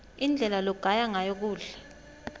indlela logaya ngayo kudla